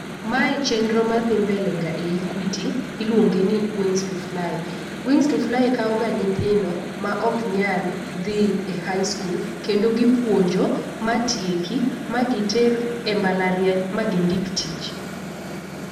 Mae chenro madhi mbele ga e equity iluonge ni wings to fly. Wings to fly kawo ga nyithindo ma ok nyal dhi high school kendo gi puonjo ma tieki ma giter e mbalariany ma gindik tich.